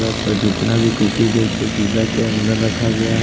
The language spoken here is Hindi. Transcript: जितना भी कुकीज है उसको शीशा के अंदर रखा गया है।